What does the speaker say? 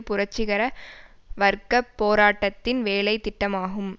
புரட்சிகர வர்க்க போராட்டத்தின் வேலைத்திட்டமாகும்